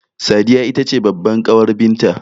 Sadiya itace babbar ƙawar binta